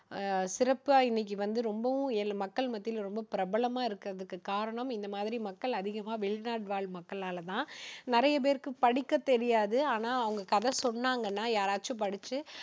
சிறப்பா இன்னைக்கு வந்து ரொம்பவும் எ~மக்கள் மத்தியில வந்து ரொம்ப பிரபலமா இருக்கறதுக்கு காரணம் இந்த மாதிரி மக்கள் அதிகமா வெளிநாடுவாழ் மக்களால தான் நிறைய பேருக்கு படிக்கத் தெரியாது ஆனா அவங்க கதை சொன்னாங்கன்னா யாராச்சும் படிச்சு,